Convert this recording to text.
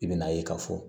I bɛna ye k'a fɔ